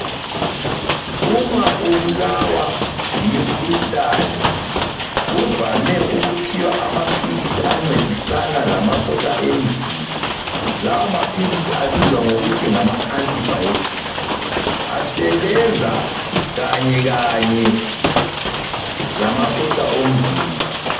Uma ubulawa yimikhuhlane, kuvame ukuphiwa amaphilisi ancedisana lamasotsha emzimba. Lawa maphilisi abizwa ngokuthi ngama anti-biotics. Asebenza kanyekanye lamasotsha omzimba.